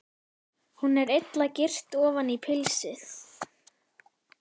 Hún er illa girt ofan í pilsið.